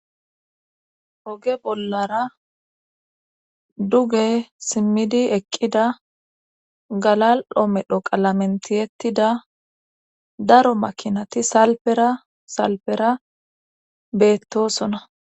oge bollara duge simmidi eqqida galal7o medho qalamentiyettida daro makinati salpera salpera beettosona